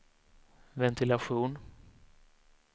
ventilation